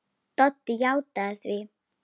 Doddi játti því.